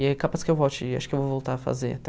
E é capaz que eu volte, acho que eu vou voltar a fazer até.